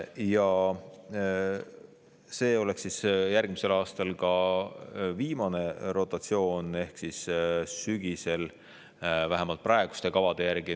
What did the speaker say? Ja see oleks järgmisel aastal ka viimane rotatsioon, vähemalt praeguste kavade järgi.